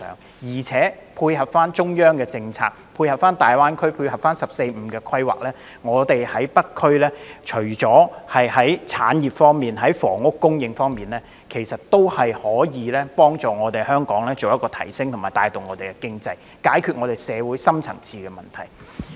只要配合中央的政策、大灣區的發展和"十四五"規劃，除了北區的產業和房屋發展以外，還可以幫助提升香港的地位、帶動經濟發展，以及解決社會的深層次問題。